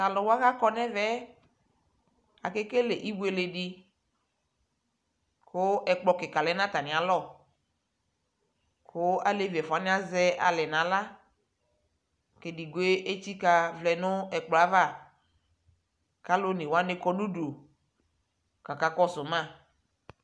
Taluwa kakɔnɛmɛɛ Akekele ibueledi ku ɛkplɔ kika lɛ natamialɔ ku alevi ɛfuawani aʒɛ alɛɛ naɣla kedigbo etsika vlɛɛ nkplɔava kaluonewani kɔ nudu kaka kɔsuu ma